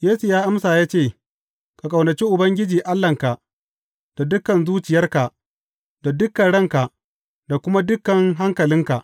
Yesu ya amsa ya ce, Ka ƙaunaci Ubangiji Allahnka da dukan zuciyarka da dukan ranka da kuma dukan hankalinka.’